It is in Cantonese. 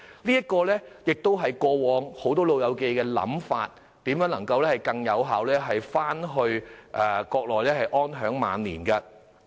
這也是大部分長者過往的想法，希望能更加有效地返回國內安享晚年。